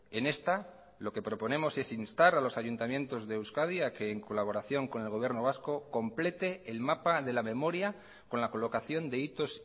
en esta lo que proponemos es instar a los ayuntamientos de euskadi a que en colaboración con el gobierno vasco complete el mapa de la memoria con la colocación de hitos